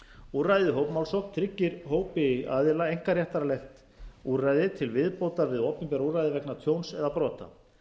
úrræðið hópmálsókn tryggir hópi aðila einkaréttarlegt úrræði til viðbótar við opinber úrræði vegna tjóns eða brota